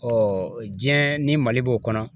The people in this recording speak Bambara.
diɲɛ ni Mali b'o kɔnɔ